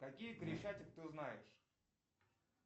какие крещатик ты знаешь